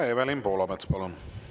Evelin Poolamets, palun!